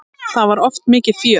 Það var oft mikið fjör.